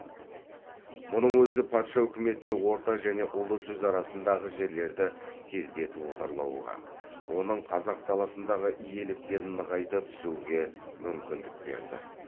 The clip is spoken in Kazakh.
мұның өзі патша үкіметіне орта және ұлы жүз арасындағы жерлерді тездетіп отарлауға оның қазақ даласындағы иеліктерін нығайта түсуге мүмкіндік берді